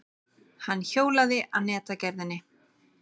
Hann hjólaði að netagerðinni.